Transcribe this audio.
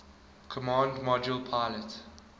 command module pilot